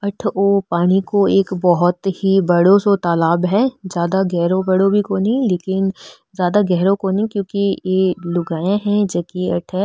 आठो वो एक पानी को बहोत ही बड़ो सो तालाब है ज्यादा गहरो बड़ो भी कोणी लेकिन ज्यादा गेहरो कोणी क्युकि ये लुगाईया है जो की अठे --